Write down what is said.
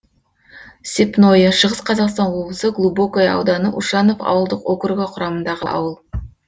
степное шығыс қазақстан облысы глубокое ауданы ушанов ауылдық округі құрамындағы ауыл